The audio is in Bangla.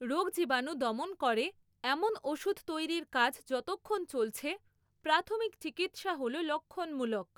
রোগজীবাণু দমন করে এমন ওষুধ তৈরির কাজ যতক্ষণ চলছে, প্রাথমিক চিকিৎসা হল লক্ষণমূলক।